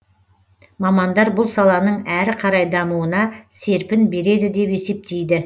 мамандар бұл саланың әрі қарай дамуына серпін береді деп есептейді